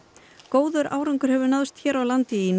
góður árangur hefur náðst hér á landi í